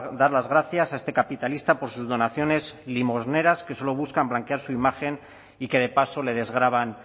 dar las gracias a este capitalista por sus donaciones limosneras que solo buscan blanquear su imagen y que de paso le desgravan